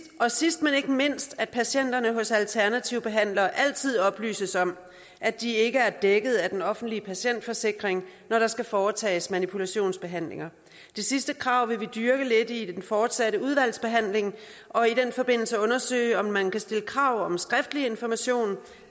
og sidst men ikke mindst at patienterne hos alternative behandlere altid oplyses om at de ikke er dækket af den offentlige patientforsikring når der skal foretages manipulationsbehandlinger det sidste krav vil vi dyrke lidt i den fortsatte udvalgsbehandling og i den forbindelse undersøge om man kan stille krav om skriftlig information